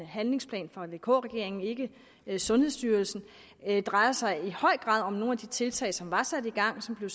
handlingsplan fra vk regeringen ikke sundhedsstyrelsen drejer sig i høj grad om nogle af de tiltag som var sat i gang og som blev